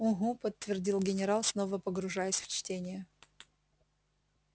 угу подтвердил генерал снова погружаясь в чтение